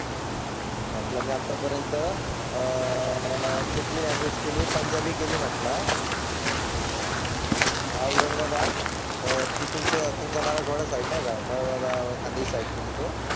म्हटलं, मी आतापर्यंत आह कुठली लॅंग्वेज केली? पंजाबी केली म्हंटलआह हम्म औरंगाबाद आह ती तुमचा तुमचा मला कळत नाही का? मग एखादी साईट केली तो.